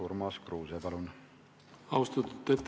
Urmas Kruuse, palun!